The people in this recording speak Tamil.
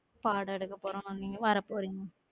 பாடம் எடுக்க போறோம் வரபோரிங்க